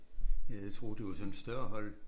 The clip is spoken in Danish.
Ja jeg troede det var sådan et større hold